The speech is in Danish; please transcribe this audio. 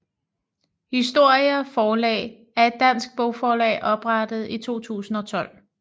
Historia Forlag er et dansk bogforlag oprettet i 2012